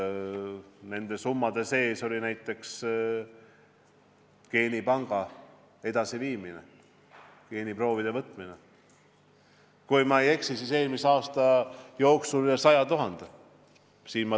Nende summade sees oli näiteks geenipangas geeniproovide võtmine, kui ma ei eksi, siis eelmise aasta jooksul üle 100 000.